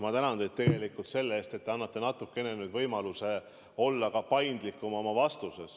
Ma tänan teid tegelikult selle eest, et te annate mulle nüüd võimaluse olla oma vastuses paindlikum.